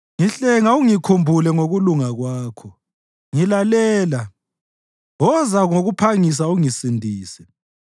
Ngihlenga ungikhulule ngokulunga kwakho; ngilalela, woza ngokuphangisa ungisindise.